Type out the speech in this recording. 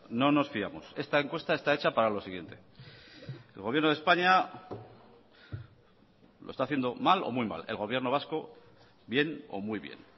no nos fiamos esta encuesta está hecha para lo siguiente el gobierno de españa lo está haciendo mal o muy mal el gobierno vasco bien o muy bien